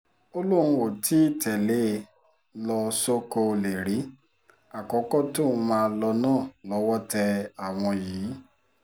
ó lóun ò tì í tẹ̀lé e ló sọ̀kò ọ̀lẹ rí àkókò tóun máa lò náà lọ́wọ́ tẹ àwọn yìí